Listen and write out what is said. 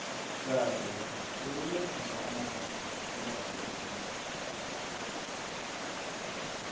kade bekuberegiswa amatje nakubalwa iinkomo